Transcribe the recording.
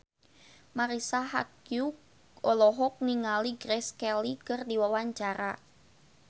Marisa Haque olohok ningali Grace Kelly keur diwawancara